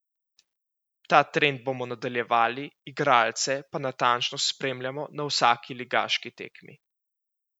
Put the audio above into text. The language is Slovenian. Ta trend bomo nadaljevali, igralce pa natančno spremljamo na vsaki ligaški tekmi.